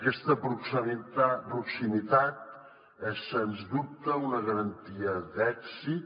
aquesta proximitat és sens dubte una garantia d’èxit